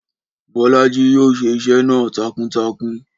Bọ́lájí yóò ṣe iṣẹ́ náà takuntakun